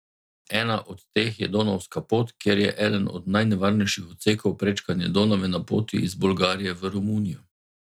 Ena od teh je donavska pot, kjer je eden od najnevarnejših odsekov prečkanje Donave na poti iz Bolgarije v Romunijo.